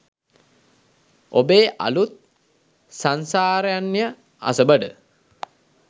ඔබේ අලුත් "සංසාරාරණ්‍යය අසබඩ"